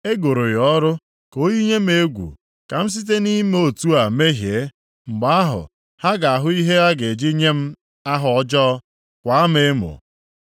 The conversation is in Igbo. E goro ya ọrụ ka o yinye m egwu, ka m site na-ime otu a mehie, mgbe ahụ, ha ga-ahụ ihe ha ga-eji nye m aha ọjọọ, kwaa m emo.